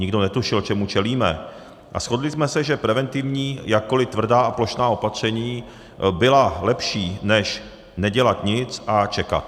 Nikdo netušil, čemu čelíme, a shodli jsme se, že preventivní, jakkoliv tvrdá a plošná opatření byla lepší než nedělat nic a čekat.